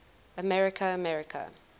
america america